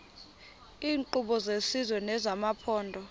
iinkqubo zesizwe nezamaphondo